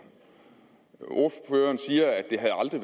ordføreren siger at det aldrig